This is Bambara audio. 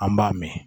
An b'a mɛn